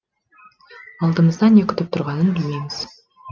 алдымызда не күтіп тұрғанын білмейміз